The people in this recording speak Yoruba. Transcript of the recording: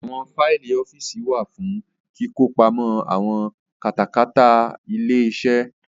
Àwọn Faìlì ọ́fíìsì wá fún kíkọ pamọ àwọn kátàkárà ilé-iṣẹ́